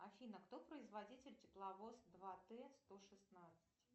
афина кто производитель тепловоз два т сто шестнадцать